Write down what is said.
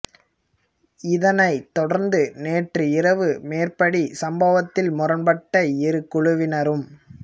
இதனைத் தொடர்ந்து நேற்று இரவு மேற்படி சம்பவத்தில் முரண்பட்ட இரு குழுவினரும்